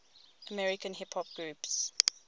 american hip hop groups